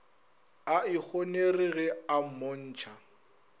a ikgonere ge a mmontšha